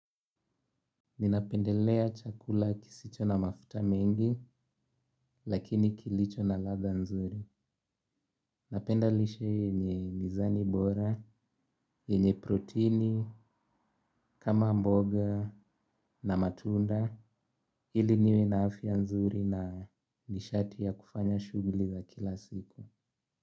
Ninapendelea chakula kisicho na mafuta mengi lakini kilicho na ladha nzuri. Napenda lishe yenye mizani bora, yenye proteini, kama mboga na matunda ili niwe na afya ya nzuri na nishati ya kufanya shughuli za kila siku.